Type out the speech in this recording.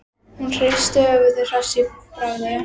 Hún hristi höfuðið, hress í bragði.